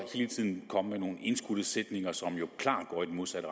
hele tiden at komme med nogle indskudte sætninger som jo klart går i den modsatte